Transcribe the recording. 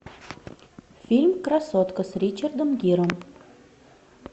фильм красотка с ричардом гиром